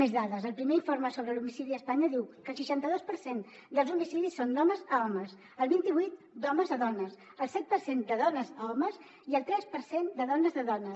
més dades el primer informe sobre l’homicidi a espanya diu que el seixanta dos per cent dels homicidis són d’homes a homes el vint i vuit d’homes a dones el set per cent de dones a homes i el tres per cent de dones a dones